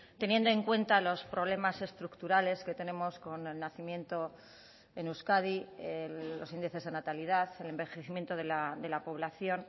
teniendo en cuenta los problemas estructurales que tenemos con el nacimiento en euskadi los índices de natalidad el envejecimiento de la población